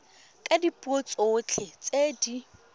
ka dipuo tsotlhe tse di